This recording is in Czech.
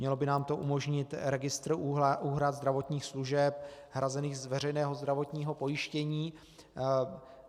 Mělo by nám to umožnit registr úhrad zdravotních služeb hrazených z veřejného zdravotního pojištění.